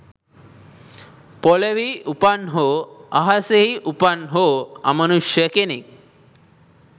පොළොවෙහි උපන් හෝ අහසෙහි උපන් හෝ අමනුෂ්‍ය කෙනෙක්